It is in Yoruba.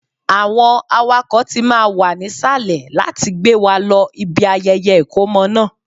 Àwọn awakọ̀ tí máa wà nísàlẹ̀ láti gbé wa lọ ibi ayẹyẹ ìkómọ náà